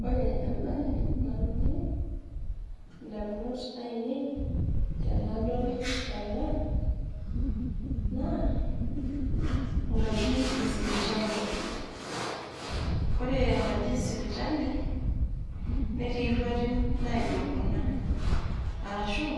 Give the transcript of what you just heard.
Wore embaye nalotu indamunot aiinei tenadol ena, naa enkaji esipitali. Wore enkaji esipitali, netii irruarin naijo kuna, arashu,